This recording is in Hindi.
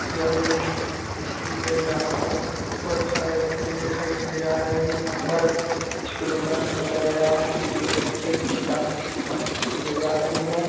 यह एक स्कूल है जहाँ पर बहोत सारे बच्चे दिखाई दिए जा रहे है यहाँ पर कुछ प्रोग्राम रचा गया है जो की बच्चे कुछ डांस वांस किए जा रहे है।